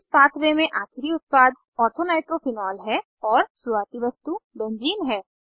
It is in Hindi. इस पाथवे में आखिरी उत्पाद ऑर्थो नाइट्रोफिनॉल है और शुरुवाती वस्तु बेंज़ीन है